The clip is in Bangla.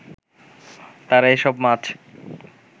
তারা এসব মাছ